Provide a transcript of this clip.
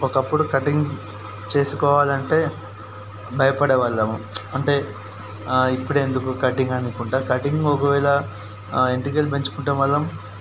ఒక అప్పుడు కటింగ్ చేసుకోవాలంటే బయపడేవాళ్ళం. అంటే ఇప్పుడు ఎందుకు కటింగ్ అని కూటయింగ్ ఒకెవెల ఏంటికులు పెంచుకుంటే మనం--